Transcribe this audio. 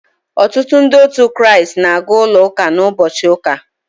Ọtụtụ Ndị otu Kraịst na-aga ụlọ ụka n’ụbọchị ụka.